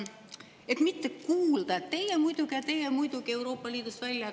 Et mitte kuulda, et teie muidugi ja teie muidugi Euroopa Liidust välja.